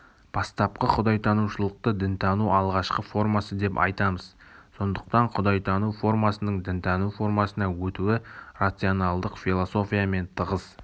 бастапқы құдайтанушылықты дінтанудың алғашқы формасы деп айтамыз сондықтан құдайтану формасының дінтану формасына өтуі рационалдық философиямен тығыз